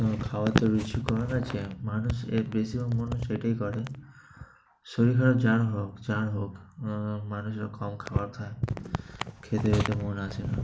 তোমার খাওয়ার তো রুচি কমে গেছে, মানুষ এর বেশিও মানুষ এটাই করে। শরীর খারাপ যার হোক, যার হোক মানুষ কম খাবার খায়, খেতে-যেতে মন আসে না।